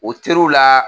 O teriw la